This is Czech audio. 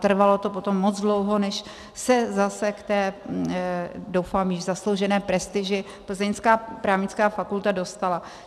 Trvalo to potom moc dlouho, než se zase k té - doufám že zasloužené - prestiži plzeňská právnická fakulta dostala.